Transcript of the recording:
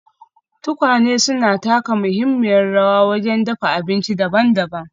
Tukwane suna taka muhimmiyar rawa wajen dafa abinci daban-daban.